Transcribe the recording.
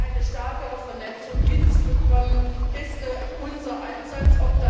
Hier eine stärkere Vernetzung hinzubekommen, ist unser Ansatz.